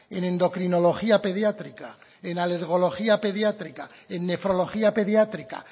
en endocrinología pediátrica en alergología pediátrica en nefrología pediátrica